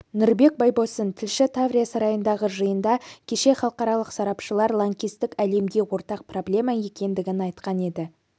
нұрбек байбосын тілші таврия сарайындағы жиында кеше халықаралық сарапшылар лаңкестік лемге ортақ проблемма екендігін айтқан еді